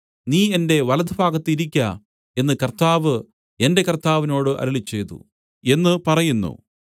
നീ എന്റെ വലത്തുഭാഗത്ത് ഇരിക്ക എന്ന് കർത്താവ് എന്റെ കർത്താവിനോട് അരുളിച്ചെയ്തു എന്ന് പറയുന്നു